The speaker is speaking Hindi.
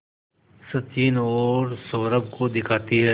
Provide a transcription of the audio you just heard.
सचिन और सौरभ को दिखाती है